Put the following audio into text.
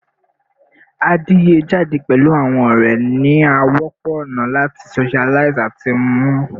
Adiye jade pẹlu awọn ọrẹ ni a wọpọ ona lati socialize ati mnu